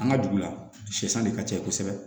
An ka dugu la sɛsan de ka ca kosɛbɛ